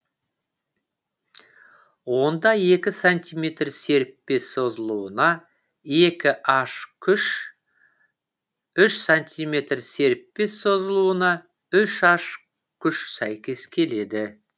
онда екі сантиметр серіппе созылуына екі аш күш үш сантиметр серіппе созылуына үш аш күш сәйкес келеді